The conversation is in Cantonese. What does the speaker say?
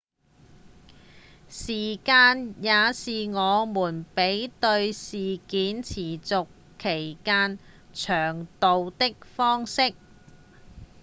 時間也是我們比對事件持續期間長度的方式